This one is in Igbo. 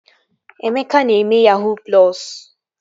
Emeka na-eme yahuu plọsu